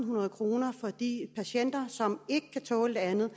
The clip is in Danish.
hundrede kroner for de patienter som ikke kan tåle det andet